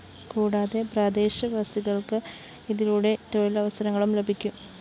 കുടാതെ പ്രദേശവാസികള്‍ക്ക് ഇതിലൂടെ തൊഴിലവസരങ്ങളും ലഭിക്കും